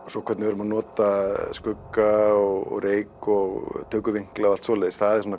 svo hvernig við erum að nota skugga og reyk og tökuvinkla og allt svoleiðis það er